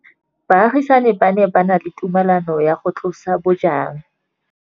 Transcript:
Baagisani ba ne ba na le tumalanô ya go tlosa bojang.